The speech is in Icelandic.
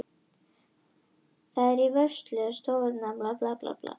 Það er í vörslu Stofnunar Árna Magnússonar.